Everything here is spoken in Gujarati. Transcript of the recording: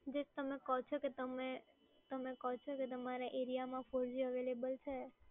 જે તમે કો છો કે તમે કો છો કે તમારા એરિયામાં four g available છે.